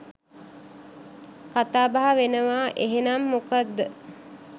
කතාබහ වෙනවාඑහෙනම් මොකද්ද?